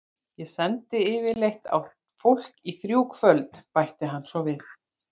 Ég sendi yfirleitt á fólk í þrjú kvöld, bætir hann svo við.